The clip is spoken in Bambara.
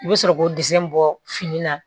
I bɛ sɔrɔ k'o bɔ fini na